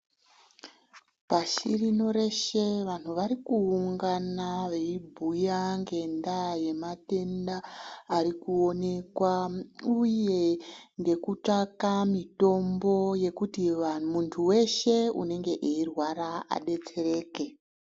Pashi rino reshe vanhu wari kuungana weibhuya ngendaa yematenda ari kuonekwa uye nekutsvaka mitombo yekuti muntu weshe unenge eirwara adetsereke.